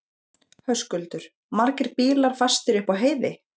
Höskuldur: Margir bílar fastir upp á heiði?